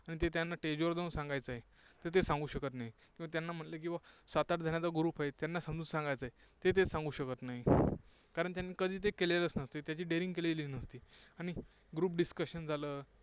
त्यांना stage वर जाऊन सांगायचे आहे. तर ते सांगू शकत नाहीत. मग त्यांना म्हटलं की बाबा सात आठ जणांचा group आहे, त्यांना समजवून सांगायचं आहे, ते ते सांगू शकत नाहीत. कारण त्यांनी कधी ते केलेलच नसतं. त्याची daring केलेली नसते. आणि group discussion झालं.